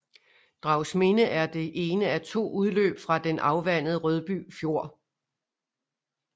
Dragsminde er det ene af to udløb fra den afvandende Rødby Fjord